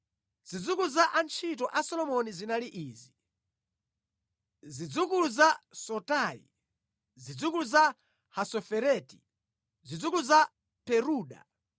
Zidzukulu za antchito a Solomoni zinali izi: Zidzukulu za Sotai, zidzukulu za Hasofereti, zidzukulu za Peruda,